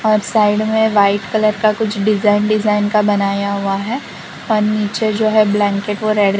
और साइड में white colour का कुछ डिजाइन डिजाइन का बनाया हुआ है और नीचे जो है ब्लैंकेट और रेड --